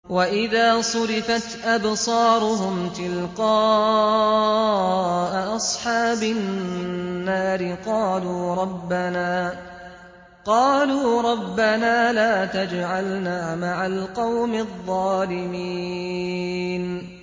۞ وَإِذَا صُرِفَتْ أَبْصَارُهُمْ تِلْقَاءَ أَصْحَابِ النَّارِ قَالُوا رَبَّنَا لَا تَجْعَلْنَا مَعَ الْقَوْمِ الظَّالِمِينَ